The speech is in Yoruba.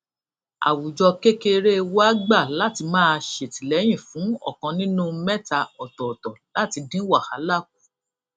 àwùjọ kékeré wa gbà láti máa ṣètìléyìn fún òkan nínú méta òtòòtò láti dín wàhálà kù